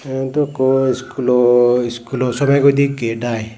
eyot ekku schoolo schoolo somegoide gate ai.